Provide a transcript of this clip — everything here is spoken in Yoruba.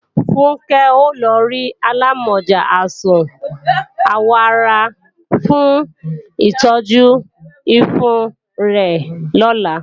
Funkẹ́ ó lọ rí alámọ̀já àìsàn àwọ̀ ara fún ìtọ́jú ifo rẹ̀ lọ́la